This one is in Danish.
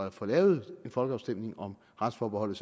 at få lavet en folkeafstemning om retsforbeholdet